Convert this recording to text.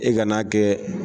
E ka n'a kɛ.